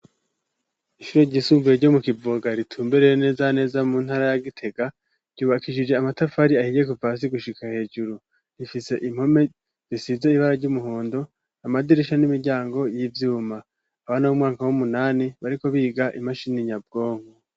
Ishure ryisumbuye ryo mu Kivoga, ritumbereye neza na neza mu ntara ya Gitega, ryubakishije amatafari ahiye kuva hasi gushika hejuru, rifise impome zisize ibara ry'umuhondo, amadirisha n'imiryango y'ivyuma, abana b'umwaka w'umunani bariko biga imashini nyabwonko.